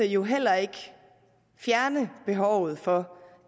jo heller ikke fjerne behovet for